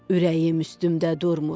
Ürəyim üstümdə durmur.